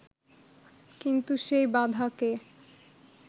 কিন্তু সেই বাধাকে